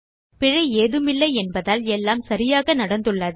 பிழை ஏதுமில்லை என்பதால் எல்லாம் சரியாக நடந்துள்ளது